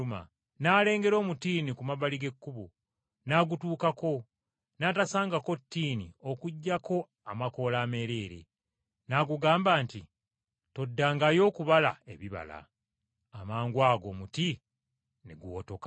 n’alengera omutiini ku mabbali g’ekkubo, n’agutuukako n’atasangako ttiini okuggyako amakoola ameereere. N’agugamba nti, “Toddangayo okubala ebibala.” Amangwago omuti ne guwotoka.